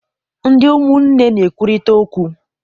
Ndị umụnne na-ekwurịta okwu.